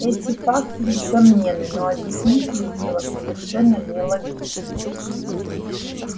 эти факты несомненны но объясненить их было совершенно нелогичным